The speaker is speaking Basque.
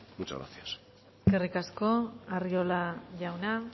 muchas gracias eskerrik asko arriola jauna